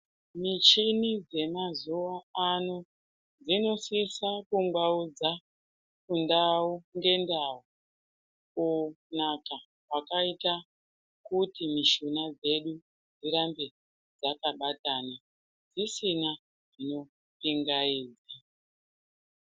Michini yemazuwa ano inosisa kungwaudza ndau ngendau kunaka kwakaita kuti mishuna dzedu dzirambe dzakabatana tisina zvinopingaidza.